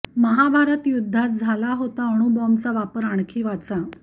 महाभारत युद्धात झाला होता अणुबाँबचा वापर आणखी वाचा